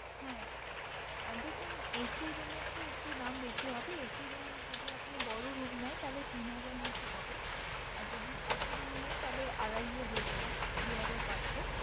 হ্যাঁ আহ দেখুন AC room এর তো একটু দাম বেশি হবে। AC room যদি আপনি বড় room নেন তাহলে তিন হাজার মতো হবে, আর যদি ছোটো room নেন তাহলে আড়াইয়ে হয়ে যাবে দুহাজার পাঁচশো।